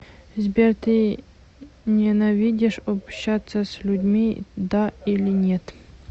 сбер ты ненавидишь общаться с людьми да или нет